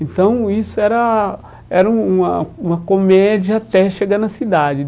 Então, isso era era um uma uma comédia até chegar na cidade.